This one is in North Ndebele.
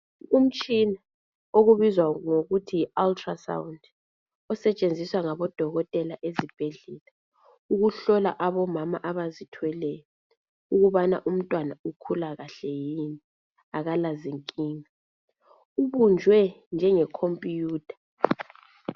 Umtshina obizwa ngokuthi yi ultrasound osetshenziswa ngabodokotela ezibhedlela ukuhlola abomama abazithweleyo ukubana umntwana ukhula kahle yini akalazinkinga ubunjwe njenge khompuyutha.